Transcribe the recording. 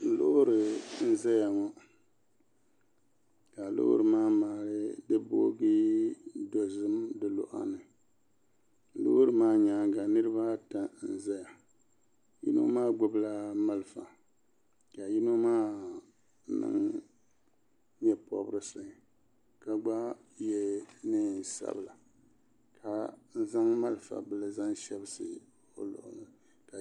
lori n zaya ŋɔ ka lori maa bogi dozim di luɣil' ni lori maa nyɛŋa niribaata n ʒɛya yino maa gbabila maliƒɔ ka yino maa niŋ nyɛpobieisi ka gba yɛ nɛnsabila ka zaŋ maliƒɔ bili shɛbisi o luɣili